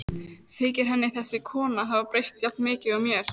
Þykir henni þessi kona hafa breyst jafn mikið og mér?